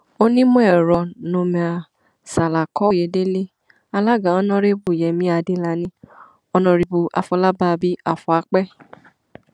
onímọ̀ẹ̀rọ noomir ṣàlàkòòyedèlẹ alága ọnàrẹbù yẹmi adélànì ọnàrẹbù afọlábábí afúàpẹ